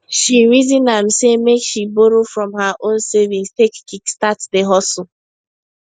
she reason am say make she borrow from her own savings take kickstart the hustle